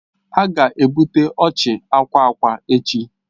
A ga-ebute oche akwa akwa echi.